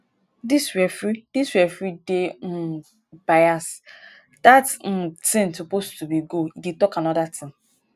dis referee dis referee dey um bias dat um thing suppose to be goal e dey talk another thing